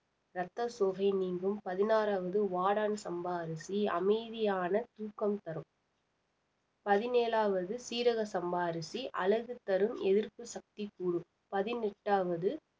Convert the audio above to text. ரத்த சோகை நீங்கும் பதினாறாவது வாடான் சம்பா அரிசி அமைதியான தூக்கம் தரும் பதினேழாவது சீரக சம்பா அரிசி அழகு தரும் எதிர்ப்பு சக்தி கூடும் பதினெட்டாவது